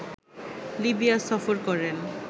Libya সফর করেন